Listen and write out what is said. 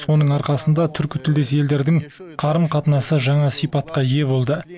соның арқасында түркітілдес елдердің қарым қатынасы жаңа сипатқа ие болды